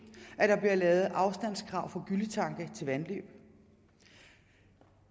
at der bliver lavet afstandskrav for gylletanke til vandløb